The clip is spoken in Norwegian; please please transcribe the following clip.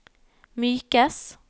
mykes